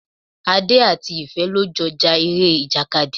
Adé àti Ìfẹ́ lọ jọ ja ere ìjàkadì.